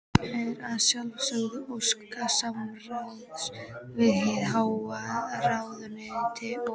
Er að sjálfsögðu óskað samráðs við hið háa ráðuneyti og